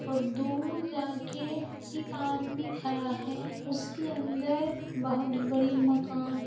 और दूर जाके एक आदमी खड़ा है। उसके अंदर बहुत बड़ी मकान--